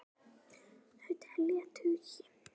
Þau telja tugi.